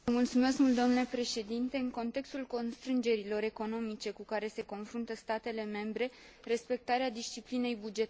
În contextul constrângerilor economice cu care se confruntă statele membre, respectarea disciplinei bugetare este esențială.